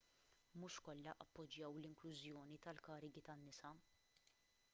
mhux kollha appoġġjaw l-inklużjoni tal-karigi tan-nisa